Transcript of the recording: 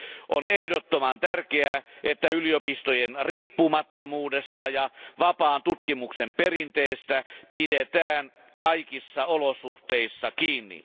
On ehdottoman tärkeää, että yliopistojen riippumattomuudesta ja vapaan tutkimuksen perinteestä pidetään kaikissa olosuhteissa kiinni.